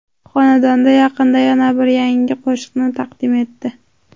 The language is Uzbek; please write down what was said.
Xonanda yaqinda yana bir yangi qo‘shiqni taqdim etdi.